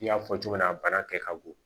I y'a fɔ cogo min na a bana kɛ ka bon